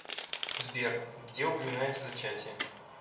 сбер где упоминается зачатие